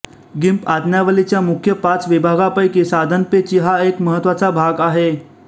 गिम्प आज्ञावलीच्या मुख्य पाच विभागापैकी साधनपेची हा एक महत्त्वाचा भाग आहे